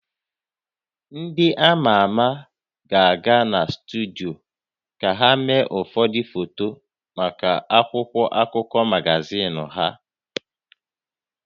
Ndị a ma ama ga-aga na studio ka ha mee ụfọdụ foto maka akwụkwọ akụkọ magazin ha